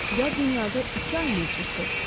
yad dünyada iki ay mövcuddur.